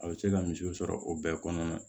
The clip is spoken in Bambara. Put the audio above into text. A bɛ se ka misiw sɔrɔ o bɛɛ kɔnɔna na